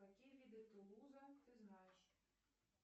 какие виды тулуза ты знаешь